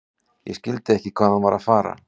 Ég skildi ekki hvað hann var að fara.